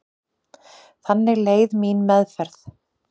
Þannig leið mín meðferð.